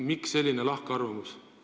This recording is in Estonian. Millest selline lahkarvamus?